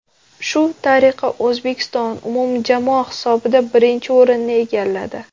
Shu tariqa O‘zbekiston umumjamoa hisobida birinchi o‘rinni egalladi.